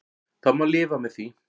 Það má lifa með því.